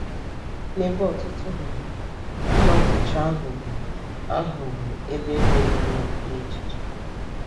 N’ebe ọtụtụ nọ, ụlọ nkụchi ahụ bụ ahụ bụ ebe juru ọnụ n’echiche.